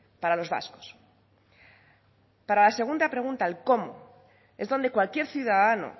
para los vascos la segunda pregunta el cómo es donde cualquier ciudadano